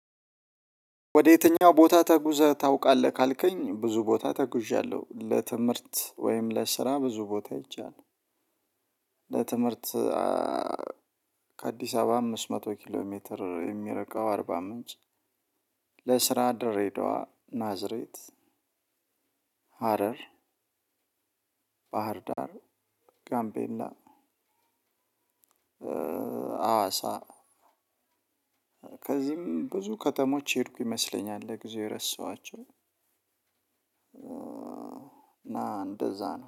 ወደ የትኛው ቦታ ተጉዘህ ታውቃለህ ካልከኝ ብዙ ቦታ ተጉዣለውጨለትምህርት ወይም ለስራ ብዙ ቦታ ሄጃለው። ለትምህርት ከአዲስ አበባ አምስት መቶ ኪሎ ሜትር የሚርቀው አርባ ምንጭ። ለስራ ድሬዳዋ ናዝሬት ሀረር ባህርዳር ጋምቤላ። አዋሳ። ከዚህም ብዙ ከተሞች የሄድኩ ይመስለኛል ለጊዜው የረሳዋቸው። ና እንደዛ ነው